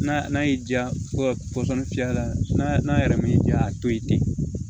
N'a n'a y'i diya ko pɔsɔni fiyɛ la n'a yɛrɛ m'i diya a to ye ten